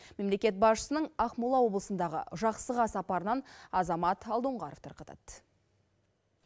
мемлекет басшысының ақмола облысындағы жақсыға сапарынан азамат алдоңғаров тарқатады